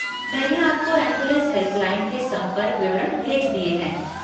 मैंने आपको ambulance helpline के संपर्क विवरण भेज दिए हैं।